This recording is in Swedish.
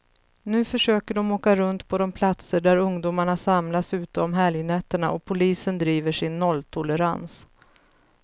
Nu försöker de åka runt på de platser där ungdomarna samlas ute om helgnätterna, och polisen driver sin nolltolerans.